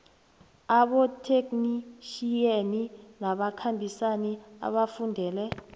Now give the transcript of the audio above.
abotheknitjhiyeni nabakhambisani abafundele